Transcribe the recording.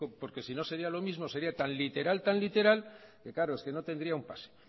porque si no sería lo mismo sería tan literal que claro es que no tendría un pase